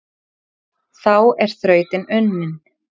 Þá er þrautin unnin,